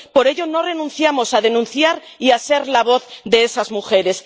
Por ello, no renunciamos a denunciar y a ser la voz de esas mujeres.